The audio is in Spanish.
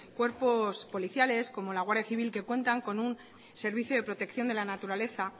cuerpos policiales como la guardia civil que cuentan con un servicio de protección de la naturaleza